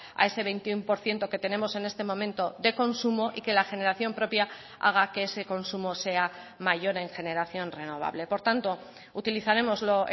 a ese veintiuno por ciento que tenemos en este momento de consumo y que la generación propia haga que ese consumo sea mayor en generación renovable por tanto utilizaremos lo